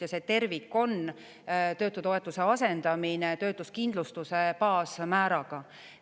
Ja see tervik on töötutoetuse asendamine töötuskindlustuse baasmääraga.